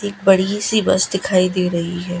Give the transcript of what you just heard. एक बड़ी सी बस दिखाई दे रही है।